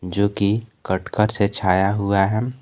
जोकि कटकर से छाया हुआ है।